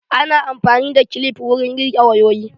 Ana amfani da kilif wurin rike wayoyi.